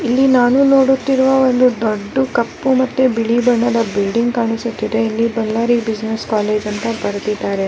ಬೀದಿ ಬಲ್ಬ್ ಎಲ್ಲಾ ಕಾಣಿಸುತ್ತಿದೆ.